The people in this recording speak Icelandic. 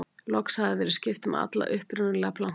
loks hafði verið skipt um alla upprunalegu plankana